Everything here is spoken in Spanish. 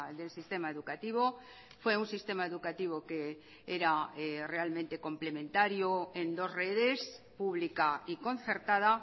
del sistema educativo fue un sistema educativo que era realmente complementario en dos redes pública y concertada